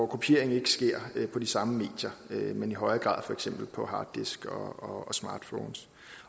kopiering ikke sker på de samme medier men i højere grad for eksempel på harddiske og smartphones